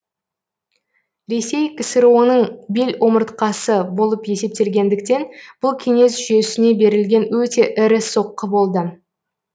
ресей ксро ның бел омыртқасы болып есептелгендіктен бұл кеңес жүйесіне берілген өте ірі соққы болды